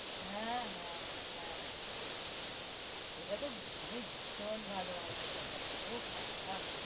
হ্যাঁ হ্যাঁ হ্যাঁ ওইটা তো মানে বিষণ ভালো হর্ষদ মেহতাটা ওহ বাবা